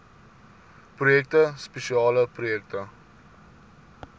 projekte spesiale projekte